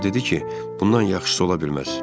O dedi ki, bundan yaxşısı ola bilməz.